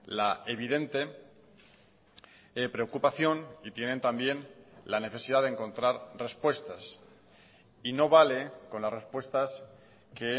la evidente preocupación y tienen también la necesidad de encontrar respuestas y no vale con las respuestas que